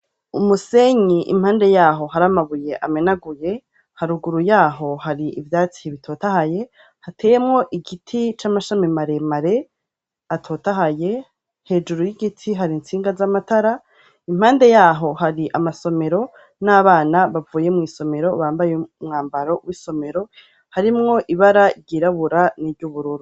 umusenyi impande yaho haramabuye amenaguye haruguru yaho hari ibyatsi hibitot ahaye hateyemo igiti c'amashami mare mare atot ahaye hejuru y'igiti hari insinga z'amatara impande yaho hari amasomero n'abana bavuye mu isomero bambaye umwambaro w'isomero harimwo ibara ryirabura n'iby'ubururu